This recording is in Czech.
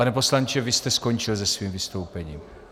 Pane poslanče, vy jste skončil se svým vystoupením?